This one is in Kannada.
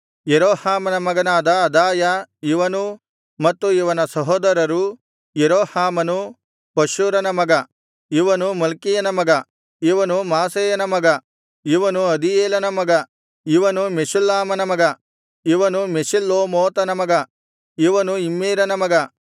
ಯೆರೋಹಾಮನ ಮಗನಾದ ಅದಾಯ ಇವನೂ ಮತ್ತು ಇವನ ಸಹೋದರರೂ ಯೆರೋಹಾಮನು ಪಶ್ಹೂರನ ಮಗ ಇವನು ಮಲ್ಕೀಯನ ಮಗ ಇವನು ಮಾಸೈಯನ ಮಗ ಇವನು ಅದೀಯೇಲನ ಮಗ ಇವನು ಯಹ್ಜೇರನ ಮಗ ಇವನು ಮೆಷುಲ್ಲಾಮನ ಮಗ ಇವನು ಮೆಷಿಲ್ಲೋಮೋತನ ಮಗ ಇವನು ಇಮ್ಮೇರನ ಮಗ